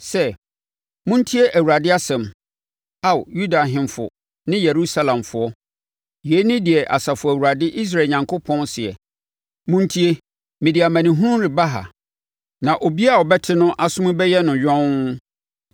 sɛ, ‘Montie Awurade asɛm, Ao Yuda ahemfo ne Yerusalemfoɔ. Yei ne deɛ Asafo Awurade Israel Onyankopɔn seɛ: Montie, mede amanehunu reba ha, na obiara a ɔbɛte no aso mu bɛyɛ no yɔnn.